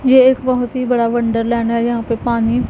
ये एक बहोत ही बड़ा वंडरलैंड है। यहां पे पानी --